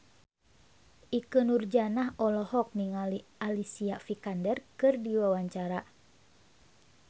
Ikke Nurjanah olohok ningali Alicia Vikander keur diwawancara